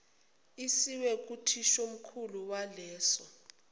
isiwe kuthishomkhulu waleso